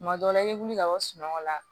Tuma dɔ la i bɛ wuli ka bɔ sunɔgɔ la